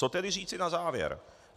Co tedy říci na závěr?